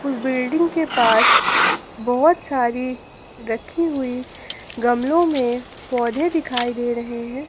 उस बिल्डिंग के पास बहुत सारी रखी हुई गमलों में पौधे दिखाई दे रहे हैं।